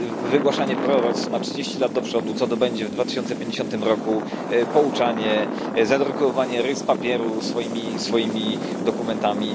wygłaszanie proroctw na trzydzieści lat do przodu, co to będzie w 2050 roku, pouczanie, zadrukowywanie ryz papieru swoimi dokumentami.